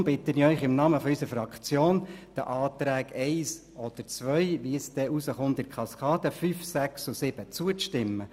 Deshalb bitte ich Sie im Namen unserer Fraktion, den Anträgen 1 oder 2 – je nachdem wie es dann in der Kaskade herauskommt – sowie 5, 6 und 7 zuzustimmen.